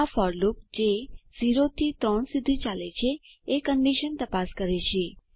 આ for loop જે 0 થી 3 સુધી ચાલે છે એ કન્ડીશન તપાસ કરે છે